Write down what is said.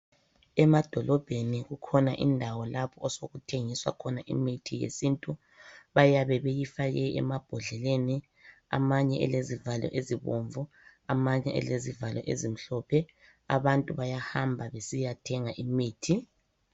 Emadolobheni kukhona indawo lapho osokuthengiswa khona imithi yesintu, bayabe beyifake emabhodleleni amanye elezivalo ezibomvu amanye elezivalo ezimhlophe. Abantu bayahamba besiyathenga imithi.